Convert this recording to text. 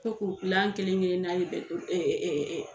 Ko kelenkelenna bɛ ɛɛ